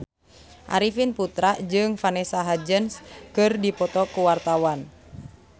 Arifin Putra jeung Vanessa Hudgens keur dipoto ku wartawan